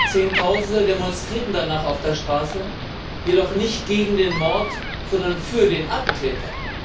Zehntausende demonstrierten danach auf der Straße, jedoch nicht gegen den Mord, sondern für den Attentäter.